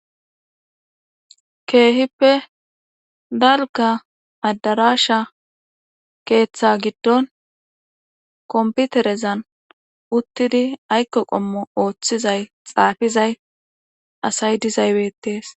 Keehippe dalka adarasha keeththa giddon komputerezan uttidi aykko qommo ooththizay xaafizay asay dizaybetees.